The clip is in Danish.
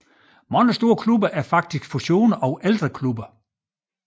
Mange store klubber er faktisk fusioner af ældre klubber